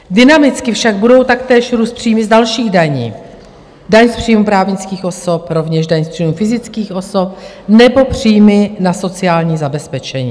Dynamicky však budou taktéž růst příjmy z dalších daní, daň z příjmu právnických osob, rovněž daň z příjmu fyzických osob nebo příjmy na sociální zabezpečení.